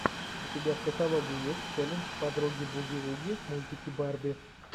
у тебя в каталоге есть челлендж подруги буги вуги мультики барби